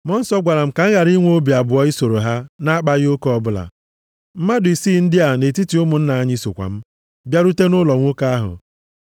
Mmụọ Nsọ gwara m ka m ghara inwe obi abụọ isoro ha na-akpaghị oke ọbụla. Mmadụ isii ndị a nʼetiti ụmụnna anyị sokwa m, bịarute nʼụlọ nwoke ahụ.